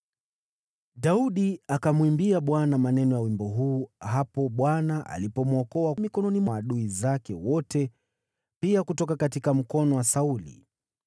Daudi alimwimbia Bwana maneno ya wimbo huu wakati Bwana alipomwokoa mikononi mwa adui zake wote, na pia mkononi mwa Sauli.